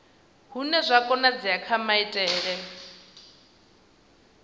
hune zwa konadzea kha maitele